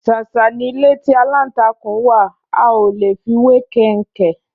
Ṣàṣà ni ilé tí aláǹtakùn wá, a olè fi wé kẹnkẹ